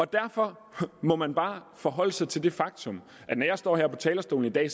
derfor må man bare forholde sig til det faktum at når jeg står her på talerstolen i dag